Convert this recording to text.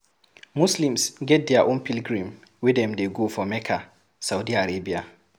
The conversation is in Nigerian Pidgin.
Muslims get their own pilgrim wey dem dey go for Mecca, Saudi Arabia